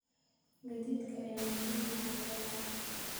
Gaadiidka ayaa muhiim u ah beeraha.